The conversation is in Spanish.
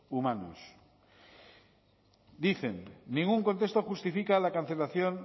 humanos dicen ningún contexto justifica la cancelación